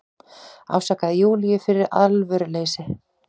Ásakaði Júlíu fyrir alvöruleysi.